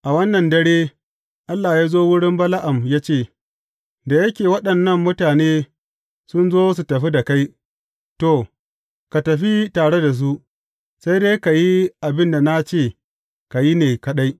A wannan dare, Allah ya zo wurin Bala’am ya ce, Da yake waɗannan mutane sun zo su tafi da kai, to, ka tafi tare da su, sai dai ka yi abin da na ce ka yi ne kaɗai.